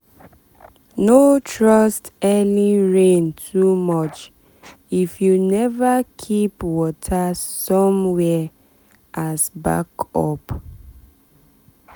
no trust early rain too much if you never keep water somewhere as backup.